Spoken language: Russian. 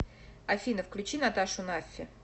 афина включи наташу наффи